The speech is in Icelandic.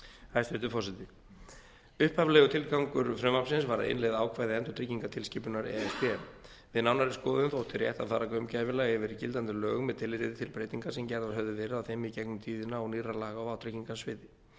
hæstvirtur forseti upphaflegur tilgangur frumvarpsins var að innleiða ákvæði endurtryggingatilskipunar e s b við nánari skoðun þótti rétt að fara gaumgæfilega yfir gildandi lög með tilliti til breytinga sem gerðar höfðu verið á þeim í gegnum tíðina og nýrra laga á vátryggingasviði